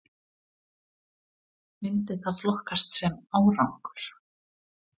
Myndi það flokkast sem árangur??